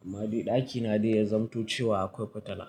Amma dai ɗakina dai ya zanto cewa akwai fitila.